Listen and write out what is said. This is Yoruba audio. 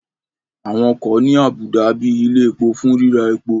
Àwọn ọkọ̀ ní àbùdá bíi ilẹ̀ epo fún ríra epo